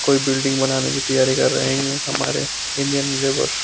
कोई बिल्डिंग बनाने की तेयारी कर रहे है ये हमारे इंडियन लेबर ।